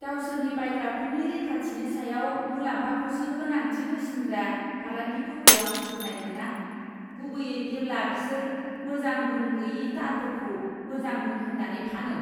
गावसोरनि बायग्राफोरनि रैखाथिनि सायाव मुलाम्फाखौसो गोनांथि होसिनग्रा फालांगिफोरखौ आं सुखुनाय मोना, गुबैयै जेब्ला बिसोर मोजां गुन गोयि तारफोरखौ मोजां गुन होन्नानै फानो।